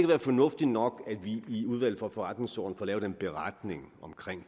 være fornuftigt nok at vi i udvalget for forretningsordenen får lavet en beretning om